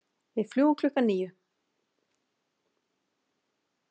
Við fljúgum klukkan níu.